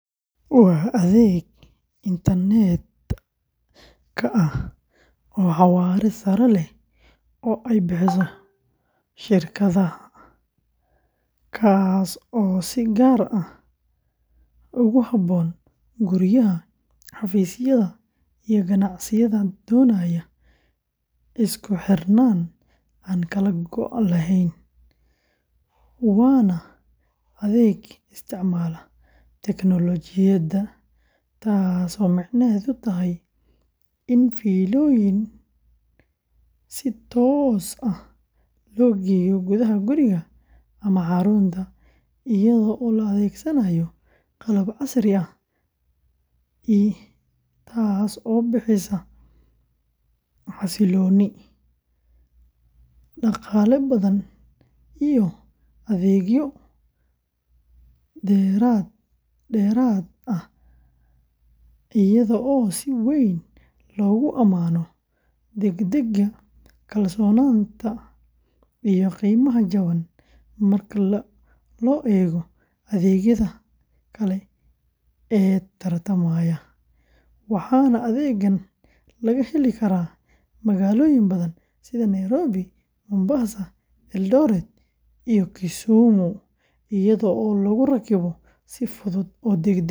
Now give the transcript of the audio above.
Waa adeeg internet oo xawaare sare leh oo ay bixiso shirkadda, kaas oo si gaar ah ugu habboon guryaha, xafiisyada, iyo ganacsiyada doonaya isku xirnaan aan kala go’ lahayn, waana adeeg isticmaala tignoolajiyadda, taasoo micnaheedu yahay in fiilooyin ah si toos ah loo geeyo gudaha guriga ama xarunta, iyadoo la adeegsanayo qalab casri ah sida routers iyo, taasoo bixisa internet xasiloon, dhaqaale badan, iyo adeegyo dheeraad ah, iyadoo si weyn loogu ammaano degdegga, kalsoonaanta, iyo qiimaha jaban marka loo eego adeegyada kale ee tartamaya, waxaana adeeggan laga heli karaa magaalooyin badan sida Nairobi, Mombasa, Eldoret iyo Kisumu, iyadoo lagu rakibo si fudud oo degdeg ah.